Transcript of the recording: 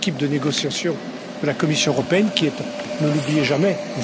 negotiations had to go hand in hand with progress in the implementation of the Withdrawal Agreement.